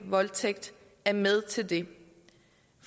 voldtægt er med til det